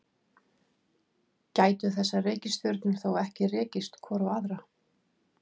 Gætu þessar reikistjörnur þá ekki rekist hvor á aðra?